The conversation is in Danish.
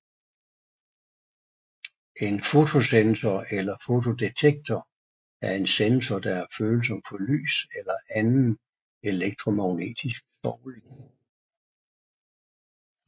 En fotosensor eller fotodetektor er en sensor der er følsom for lys eller anden elektromagnetisk stråling